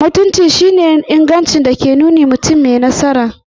Mutunci shi ne ingancin da ke yin nuni mutum mai nasara.